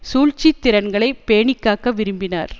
சூழ்ச்சி திறன்களை பேணிக்காக்க விரும்பினார்